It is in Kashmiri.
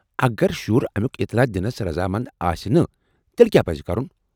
اگر شُر امُیٚك اطلاع دنس رضامند آسہِ نہٕ تیلہِ کیٚاہ پزِ کرُن ؟